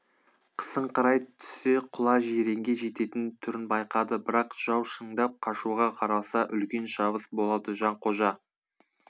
қысыңқырай түссе құла жиренге жететін түрін байқады бірақ жау шындап қашуға қараса үлкен шабыс болады жанқожа